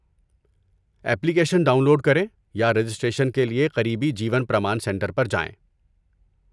Application download کریں یا registration کے لیے قریبی جیون پرمان سنٹر پر جائیں۔